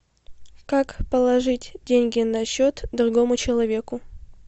как положить деньги на счет другому человеку